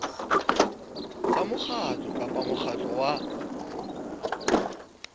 tsa mokgatlo kapa mokgatlo wa